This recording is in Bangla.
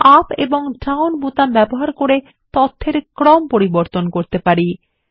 আমরা আপ এবং ডাউন বোতাম ব্যবহার করে তথ্যর ক্রম পরিবর্তন করতে পারি